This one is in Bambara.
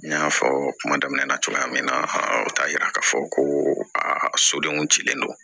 N y'a fɔ kuma daminɛ na cogoya min na o t'a yira k'a fɔ ko a sodenw cilen don